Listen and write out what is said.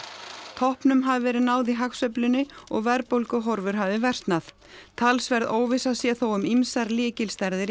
toppnum hafi verið náð í hagsveiflunni og verðbólguhorfur hafi versnað talsverð óvissa sé þó um ýmsar lykilstærðir í